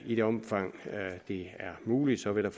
i det omfang det er muligt vil jeg